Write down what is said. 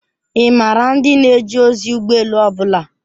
Ị maara ndị na-eje ozi ụgbọ elu ọ bụla?